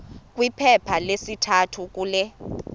kwiphepha lesithathu kule